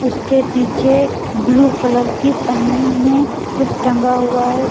उसके पीछे blue colour की पन्नी में कुछ टंगा हुआ है।